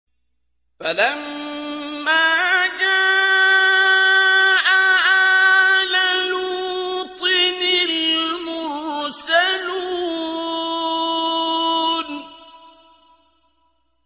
فَلَمَّا جَاءَ آلَ لُوطٍ الْمُرْسَلُونَ